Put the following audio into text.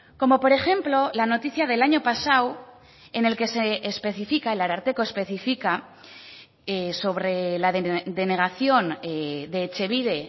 como por ejemplo la noticia del año pasado en el que se especifica el ararteko especifica sobre la denegación de etxebide